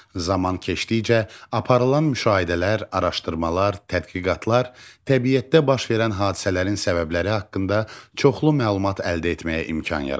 Zaman keçdikcə aparılan müşahidələr, araşdırmalar, tədqiqatlar təbiətdə baş verən hadisələrin səbəbləri haqqında çoxlu məlumat əldə etməyə imkan yaratdı.